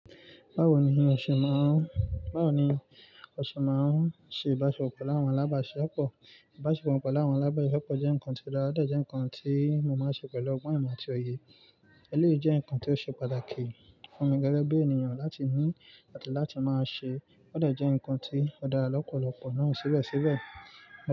Báwo ni o ṣe máa ń, báwo ni o ṣe máa ń ṣe ìbáṣepọ̀ pẹ̀lú àwọn alábàáṣepọ̀? Ìbáṣepọ̀ pẹ̀lú àwọn alábàáṣepọ̀ jẹ́ nǹkan tó dára, ó dẹ̀ jẹ́ nǹkan tí mo máa ń ṣe pẹ̀lú ọgbọ́n ìmọ̀ àti òye. Eléyìí jẹ́ nǹkan tó ṣe pàtàkì fún mi gẹ́gẹ́ bí ènìyàn láti ní, ati láti máa ṣe. Ó dẹ̀ jẹ́ nǹkan tí ó dára lọ́pọ̀lọpọ̀ náà síbẹ̀síbẹ̀.